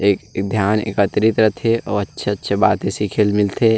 ध्यान एकत्रित रखे और अच्छा-अच्छा बाते सिखे ल मिलथे।